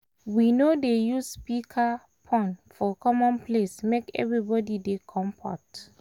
we no dey use speakerphone for common place make everybody dey komfort.